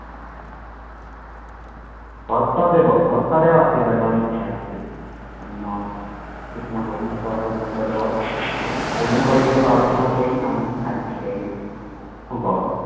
ভট্টদেৱ ভট্টদেৱ আছিল এজন সাহিত্যিক অন্য কিছুমান বৈশিষ্ট্য আছিল ভট্টদেৱৰ বিভিন্ন বৈশিষ্ট্য আলোচনা কৰিম